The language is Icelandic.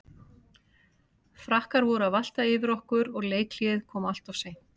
Frakkar voru að valta yfir okkur og leikhléið kom alltof seint.